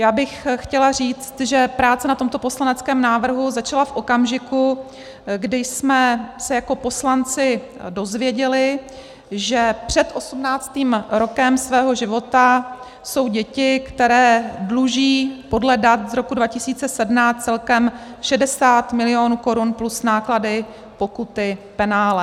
Já bych chtěla říct, že práce na tomto poslaneckém návrhu začala v okamžiku, kdy jsme se jako poslanci dozvěděli, že před osmnáctým rokem svého života jsou děti, které dluží podle dat z roku 2017 celkem 60 milionů korun plus náklady, pokuty, penále.